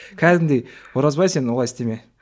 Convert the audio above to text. кәдімгідей оразбай сен олай істеме